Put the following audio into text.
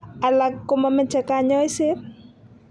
Alak komamache kanyoiset